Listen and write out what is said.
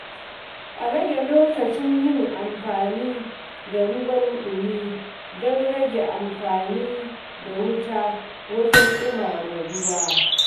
A rage lokacin yin wanka da ruwan ɗumi don rage amfani da wuta wajen ɗumama ruwa.